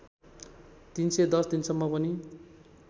३१० दिनसम्म पनि